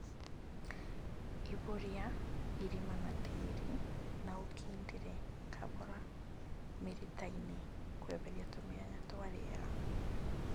Ihũria irima na tĩri na ũkindĩre kahora mĩritainĩ kweheria tũmĩanya twa rĩera